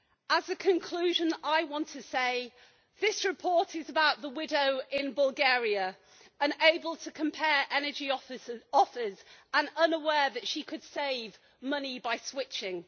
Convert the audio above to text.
As a conclusion, I want to say that this report is about the widow in Bulgaria, unable to compare energy offers and unaware that she could save money by switching.